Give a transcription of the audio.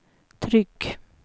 tryck